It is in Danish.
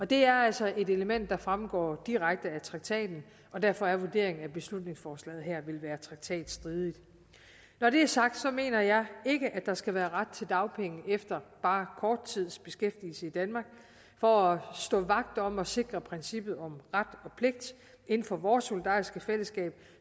det er altså et element der fremgår direkte af traktaten og derfor er vurderingen at beslutningsforslaget her vil være traktatstridigt når det er sagt mener jeg ikke at der skal være ret til dagpenge efter bare kort tids beskæftigelse i danmark for at stå vagt om og sikre princippet om ret og pligt inden for vores solidariske fællesskab